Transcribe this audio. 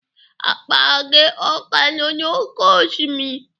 Akpa gị ọ ka nọ n'oké osimiri?